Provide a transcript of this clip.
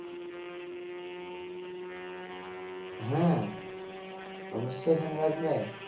হ্যাঁ অবশ্যই ঠান্ডা লাগবে